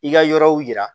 I ka yɔrɔw yira